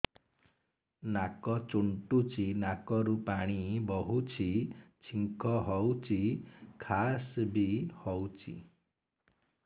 ନାକ ଚୁଣ୍ଟୁଚି ନାକରୁ ପାଣି ବହୁଛି ଛିଙ୍କ ହଉଚି ଖାସ ବି ହଉଚି